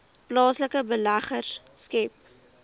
plaaslike beleggers skep